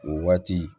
O waati